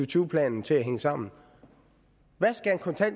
tyve planen til at hænge sammen